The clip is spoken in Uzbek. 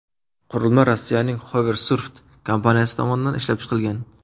Qurilma Rossiyaning Hoversurf kompaniyasi tomonidan ishlab chiqilgan.